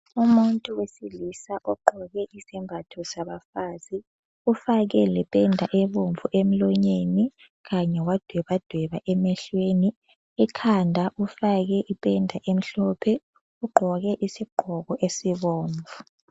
Umuntu wesilisa ogqoke isembatho sabafazi ufake lependa ebomvu emlonyeni Kanye wadwebadweba emehlweni ,ekhanda ufake ipenda emhlophe ,ugqoke isigqoko esibomvu